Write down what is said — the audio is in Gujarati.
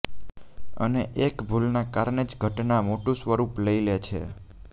અને એક ભૂલના કારણે જ ઘટના મોટું સ્વરૂપ લઈ લે છે